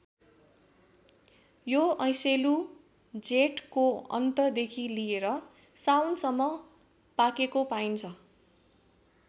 यो ऐँसेलु जेठको अन्त देखि लिएर साउन सम्म पाकेको पाइन्छ।